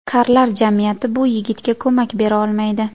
Karlar jamiyati bu yigitga ko‘mak bera olmaydi.